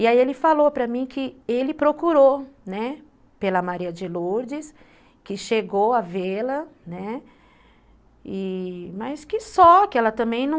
E aí ele falou para mim que ele procurou, né, pela Maria de Lourdes, que chegou a vê-la, né, mas que só, que ela também não...